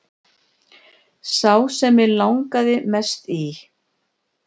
Sá sem mig langar mest í